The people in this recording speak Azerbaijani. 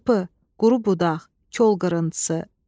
Çırpı, quru budaq, kol qırıntısı.